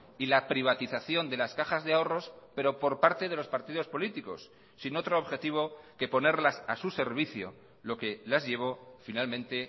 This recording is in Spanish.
y la privatización de las cajas de ahorros pero por parte de los partidos políticos sin otro objetivo que ponerlas a su servicio lo que las llevó finalmente